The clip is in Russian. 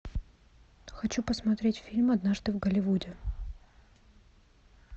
хочу посмотреть фильм однажды в голливуде